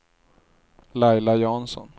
Laila Jansson